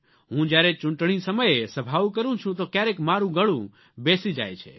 હું જ્યારે ચૂંટણી સમયે સભાઓ કરૂં છું તો ક્યારેક મારૂં ગળું બેસી જાય છે